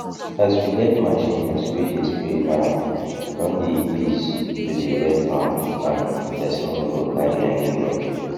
as we get machines wey dey spray now e don dey ease to dey wet farm and person no go carry any load